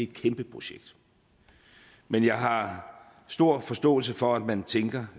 kæmpe projekt men jeg har stor forståelse for at man tænker